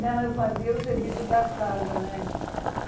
Não, eu fazia o serviço da casa, né?